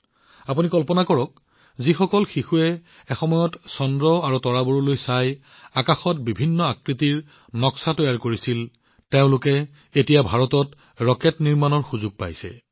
আপোনালোকে কল্পনা কৰিব পাৰে যে যিসকল শিশুৱে এসময়ত আকাশৰ ছবি আঁকিছিল চন্দ্ৰ আৰু তৰাবোৰলৈ চাইছিল তেওঁলোকে এতিয়া ভাৰতত ৰকেট বনোৱাৰ সুযোগ পাইছে